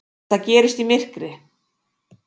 Þetta gerist í myrkri.